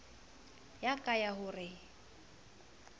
ya ka ya ho re